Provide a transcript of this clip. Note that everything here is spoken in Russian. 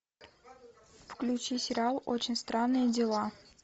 включи сериал очень странные дела